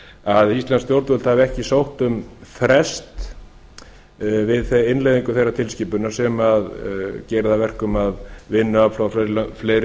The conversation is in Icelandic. að íslensk stjórnvöld hafi ekki sótt um frest við innleiðingu þeirrar tilskipunar sem gera það að verkum að vinnuafl frá fleiri